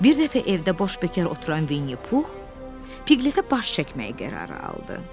Bir dəfə evdə boş bəkar oturan Vinni Pux Piglet-ə baş çəkməyə qərarı aldı.